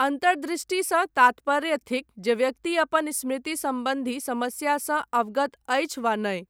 अन्तर्दृष्टिसँ तात्पर्य थिक जे व्यक्ति अपन स्मृति सम्बन्धी समस्यासँ अवगत अछि वा नहि।